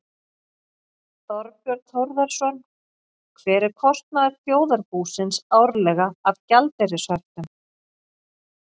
Þorbjörn Þórðarson: Hver er kostnaður þjóðarbúsins árlega af gjaldeyrishöftum?